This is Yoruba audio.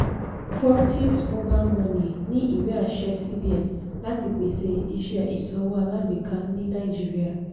fortis mobile money ní ìwé-àṣẹ cbn láti pèsè iṣẹ́ ìsanwó alágbèká ní naijiría.